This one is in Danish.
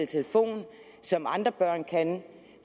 telefon som andre børn kan